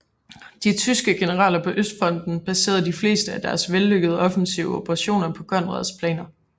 De tyske generaler på Østfronten baserede de fleste af deres vellykkede offensive operationer på Conrads planer